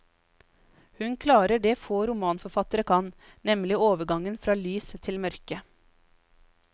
Hun klarer det få romanforfattere kan, nemlig overgangen fra lys til mørke.